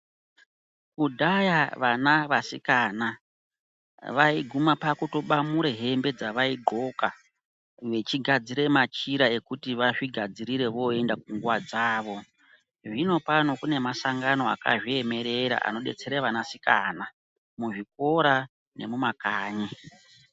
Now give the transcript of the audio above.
Kudhaya vana vasikana vaiguma pakutobamure hembe dzavaidhloka. Vechigadzira machira ekuti vazvigadzirire voenda kunguva dzavo. Zvinopano kune masangano akazviemerera anobatsira vanasikana muzvikora nemumakanyi.